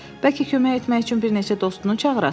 Bəlkə kömək etmək üçün bir neçə dostunu çağırasan?